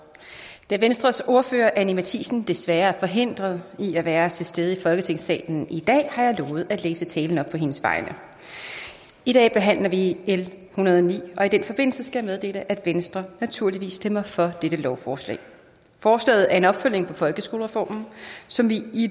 da venstres ordfører anni matthiesen desværre er forhindret i at være til stede i folketingssalen i dag har jeg lovet at læse talen op på hendes vegne i dag behandler vi l en hundrede og ni og i den forbindelse skal jeg meddele at venstre naturligvis stemmer for dette lovforslag forslaget er en opfølgning på folkeskolereformen som vi i